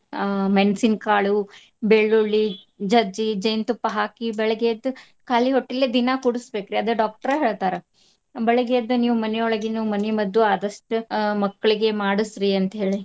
ಆ ಮೆಣಸಿನಕಾಳು, ಬೆಳ್ಳುಳ್ಳಿ ಜೆಜ್ಜಿ ಜೇನ್ ತುಪ್ಪ ಹಾಕಿ ಬೆಳಗ್ಗೆ ಎದ್ದ್ ಖಾಲಿ ಹೊಟ್ಟಿಲೆ ದಿನಾ ಕುಡ್ಸಬೇಕ್ರಿ ಅದ doctor ಹೇಳ್ತಾರ. ಬೆಳಗ್ಗೆ ಎದ್ದು ನೀವ್ ಮನಿಯೊಳಗಿನ್ನು ಮನಿಮದ್ದು ಆದಷ್ಟು ಆ ಮಕ್ಳಿಗೆ ಮಾಡಸ್ರಿ ಅಂತ ಹೇಳಿ.